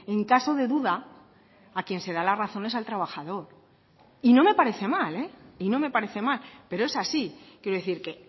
en caso de duda a quien se da la razón es al trabajador y no me parece mal y no me parece mal pero es así quiero decir que